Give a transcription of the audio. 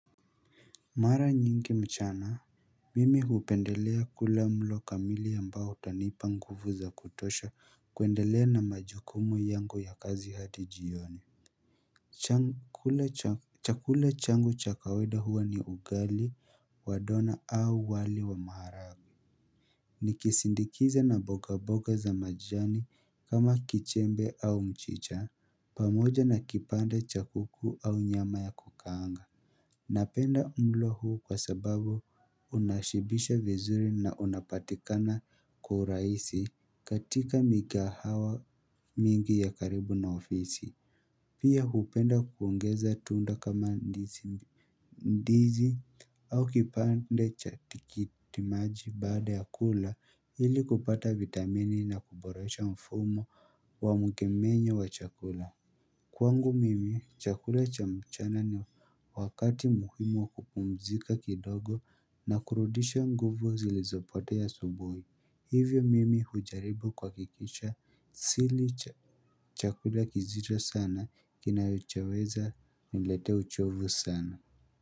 Mara nyingi mchana, mimi hupendelea kula mlo kamili ambao utanipa nguvu za kutosha kuendelea na majukumu yangu ya kazi hadi jioni. Chakula changu cha kawaida huwa ni ugali wa dona au wali wa maharagwe. Nikisindikiza na mboga mboga za majani kama kichembe au mchicha, pamoja na kipande cha kuku au nyama ya kukaanga. Napenda mlo huo kwa sababu unashibisha vizuri na unapatikana kwa urahisi katika mikahawa mingi ya karibu na ofisi Pia hupenda kuongeza tunda kama ndizi au kipande cha tikitimaji baada ya kula ili kupata vitamini na kuboresha mfumo wa mkemenyo wa chakula Kwangu mimi, chakula cha mchana ni wakati muhimu wa kupumzika kidogo na kurudisha nguvu zilizopotea asubuhi. Hivyo mimi hujaribu kuhakikisha sili chakula kizito sana kinachoweza kuniletea uchovu sana.